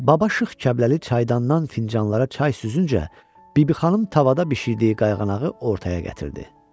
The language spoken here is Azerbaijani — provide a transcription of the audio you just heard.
Baba Şıx Kəbləli çaydandan fincanlara çay süzüncə, Bibi xanım tavada bişirdiyi qayğanağı ortaya gətirdi.